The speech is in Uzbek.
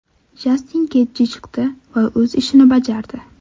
Jastin Getji chiqdi va o‘z ishini bajardi.